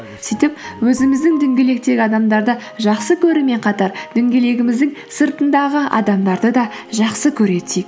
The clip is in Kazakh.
сөйтіп өзіміздің дөңгелектегі адамдарды жақсы көрумен қатар дөңгелегіміздің сыртындағы адамдарды да жақсы көре түсейік